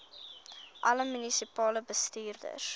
alle munisipale bestuurders